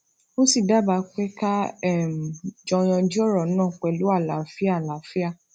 ó sì dábàá pé ká um jọ yanjú òrò náà pẹlú àlàáfíà àlàáfíà